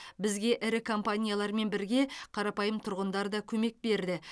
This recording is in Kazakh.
бізге ірі компаниялармен бірге қарапайым тұрғындар да көмек берді